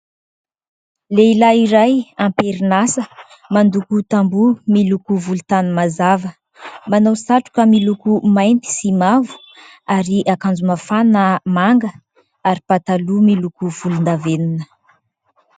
Lehilahy iray am-perin'asa mandoko tamboho miloko volontany mazava, manao satroka miloko mainty sy mavo ary akanjo mafana manga ary pataloha volondavenona